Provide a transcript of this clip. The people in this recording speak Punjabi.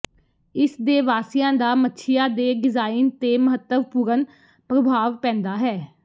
ਇਸ ਦੇ ਵਾਸੀਆਂ ਦਾ ਮੱਛੀਆ ਦੇ ਡਿਜ਼ਾਇਨ ਤੇ ਮਹੱਤਵਪੂਰਣ ਪ੍ਰਭਾਵ ਪੈਂਦਾ ਹੈ